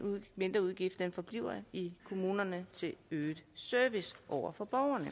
mindreudgift forbliver i kommunerne til øget service over for borgerne